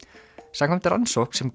samkvæmt rannsókn sem